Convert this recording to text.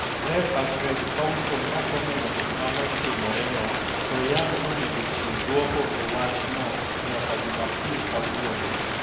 Refa Craig Pawson noko neno gima ne otimore no to Young nonego chiw duoko e wachno nyaka Jumapil kawuono.